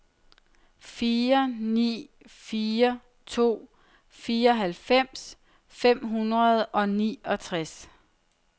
fire ni fire to fireoghalvfems fem hundrede og niogtres